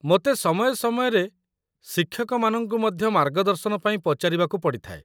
ମୋତେ ସମୟ ସମୟରେ ଶିକ୍ଷକମାନଙ୍କୁ ମଧ୍ୟ ମାର୍ଗଦର୍ଶନ ପାଇଁ ପଚାରିବାକୁ ପଡ଼ିଥାଏ।